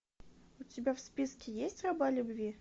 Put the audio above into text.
у тебя в списке есть раба любви